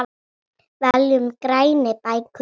Veljum grænni bækur.